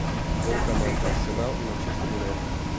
футбол команд арсенал и манчестер юнайтед